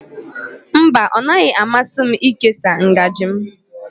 Mba, ọ naghị amasị m ịkesa ngaji m